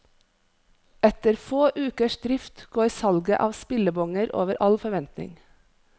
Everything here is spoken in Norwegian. Etter få ukers drift går salget av spillebonger over all forventning.